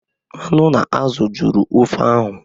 Anụ na azụ jụrụ ofe ahụ